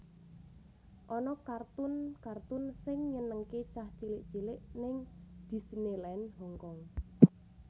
Ana kartun kartun sing nyenengke cah cilik cilik ning Disneyland Hongkong